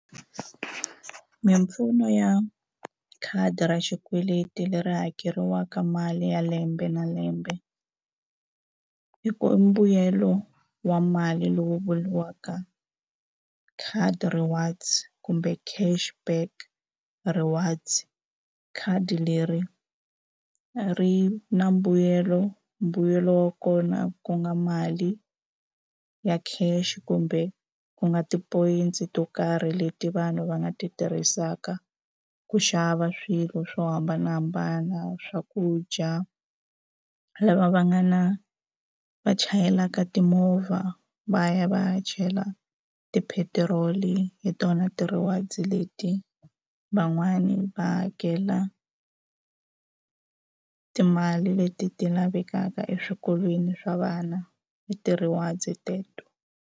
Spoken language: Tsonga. Mimpfuno ya khadi ra xikweleti leri hakeriwaka mali ya lembe na lembe i ku i mbuyelo wa mali lowu vuriwaka khadi rewards kumbe cash back rewards khadi leri ri na mbuyelo mbuyelo wa kona kunga mali ya cash kumbe ku nga tipoyintsi to karhi leti vanhu va nga ti tirhisaka ku xava swilo swo hambanahambana swakudya lava va nga na va chayelaka timovha va ya va ya chela tipetiroli hi tona ti-rewards leti van'wani va hakela timali leti ti lavekaka eswikolweni swa vana hi ti-rewards teto.